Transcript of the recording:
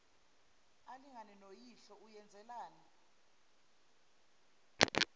alingane noyihlo uyenzelani